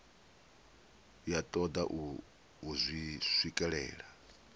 ya toda u zwi swikelela